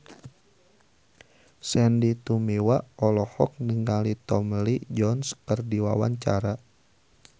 Sandy Tumiwa olohok ningali Tommy Lee Jones keur diwawancara